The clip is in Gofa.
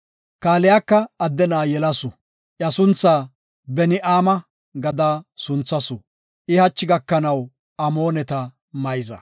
Kaaliyaka adde na7a yelasu; iya sunthaa Beni7aama gada sunthasu. I hachi gakanaw Amooneta mayza.